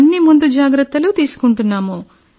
అన్ని ముందు జాగ్రత్తలు తీసుకుంటున్నాం